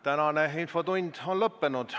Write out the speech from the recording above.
Tänane infotund on lõppenud.